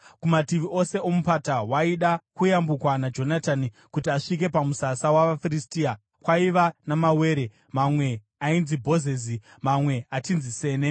Kumativi ose omupata waida kuyambukwa naJonatani kuti asvike pamusasa wavaFiristia, kwaiva namawere; mamwe ainzi Bhozezi, mamwe achinzi Sene.